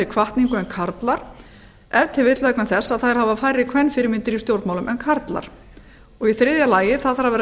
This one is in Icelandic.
hvatningu en karlar ef til vill vegna þess að þær hafa færri kvenfyrirmyndir í stjórnmálum en karlar þriðja vilji þarf að